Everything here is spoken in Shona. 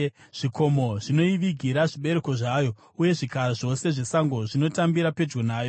Zvikomo zvinoivigira zvibereko zvayo, uye zvikara zvose zvesango zvinotambira pedyo nayo.